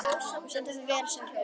Þú stendur þig vel, Snæbjörn!